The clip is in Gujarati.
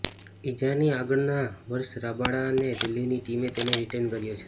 ઇજાની આગળના વર્ષ રબાડા ને દિલ્હીની ટીમે તેને રિટેઇન કર્યો હતો